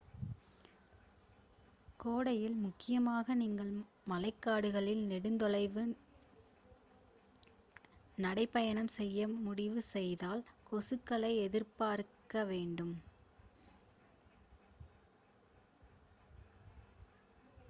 கோடையில் முக்கியமாக நீங்கள் மழைக்காடுகளில் நெடுந் தொலைவு நடைப் பயணம் செய்ய முடிவு செய்தால் கொசுக்களை எதிர்பார்க்க வேண்டும்